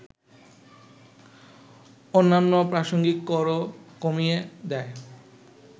অন্যান্য প্রাসঙ্গিক করও কমিয়ে দেয়